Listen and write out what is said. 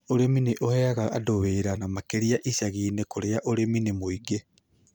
Ũrĩmi nĩ ũheaga andũ wĩra, na makĩria icagi-inĩ kũrĩa ũrĩmi nĩ mũingĩ.